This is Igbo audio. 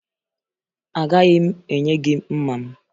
Agaghị m enye gị mma m